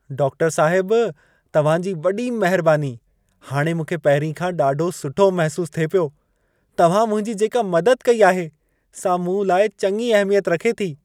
डाक्टरु साहिब, तव्हां जी वॾी महिरबानी। हाणे मूंखे पहिरीं खां ॾाढो सुठो महसूसु थिए पियो। तव्हां मुंहिंजी जेका मदद कई आहे सां मूं लाइ चङी अहमियत रखे थी।